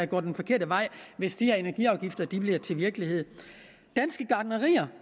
går den forkerte vej hvis de her energiafgifter bliver til virkelighed danske gartnerier